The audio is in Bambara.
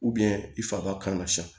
i faga kan ka san